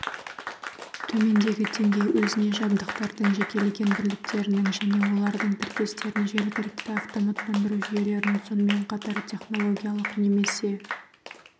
төменгі деңгей өзіне жабдықтардың жекелеген бірліктерінің және олардың тіркестерін жергілікті автоматтандыру жүйелерін сонымен қатар технологиялық немесе